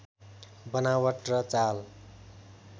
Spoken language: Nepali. बनावट र चाल